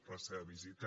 la seva visita